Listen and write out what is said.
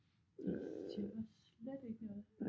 Det siger mig slet ikke noget